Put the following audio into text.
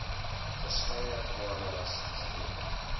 verskeie areas gedoen